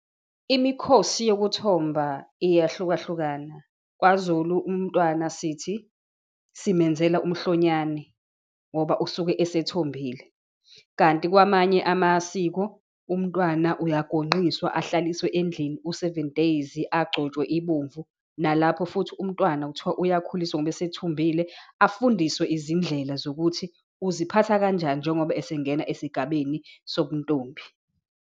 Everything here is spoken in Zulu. Imikhosi yokuthomba iyahlukahlukana. KwaZulu, umntwana sithi simenzela umhlonyane ngoba usuke asethombile. Kanti kwamanye amasiko, umntwana uyagonqiswa ahlaliswe endlini u-seven days, agcotshwe ibomvu. Nalapho futhi umntwana kuthiwa uyakhuliswa ngoba esethombile, afundiswe izindlela zokuthi uziphatha kanjani, njengoba esengena esigabeni sobuntombi.